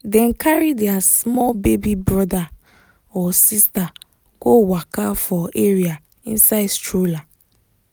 dem carry their small baby brother/sister go waka for area inside stroller